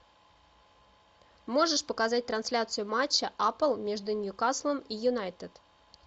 можешь показать трансляцию матча апл между ньюкаслом и юнайтед